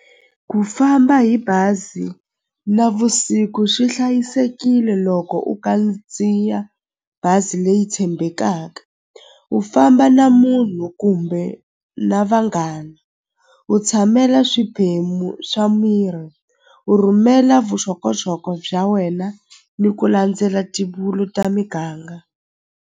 Ku famba hi bazi navusiku swi hlayisekile loko u kandziya bazi leyi tshembekaka u famba na munhu kumbe na vanghana u tshamela swiphemu swa miri u rhumela vuxokoxoko bya wena ni ku landzela ta miganga.